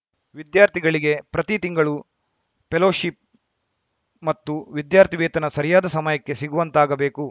ವಿದ್ಯಾರ್ಥಿಗಳಿಗೆ ಪ್ರತಿ ತಿಂಗಳು ಪೆಲೋಶಿಪ್‌ ಮತ್ತು ವಿದ್ಯಾರ್ಥಿ ವೇತನ ಸರಿಯಾದ ಸಮಯಕ್ಕೆ ಸಿಗುವಂತಾಗಬೇಕು